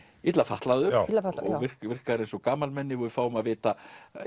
illa fatlaður illa fatlaður og virkar eins og gamalmenni og við fáum að vita